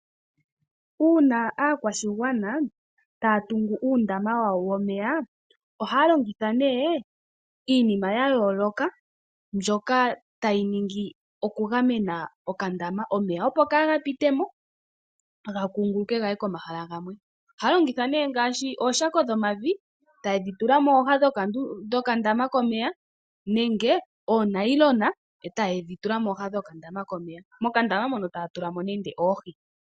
Uuna aakwashigwana taya tungu uundama wa wo womeya ohaya longitha nee iinima yayooloka mbyoka tayi ningi oku gamena okandama omeya opo kaaga pite mo gakunguluke gaye komahala gamwe. Ohaya longitha nee ngaashi ooshako dhomavi taye dhi tula mooha dhokandama komeya nenge oonayilona e taye dhi tula mooha dhokandama komeya, kokandama mono taya tula mo nande oohi.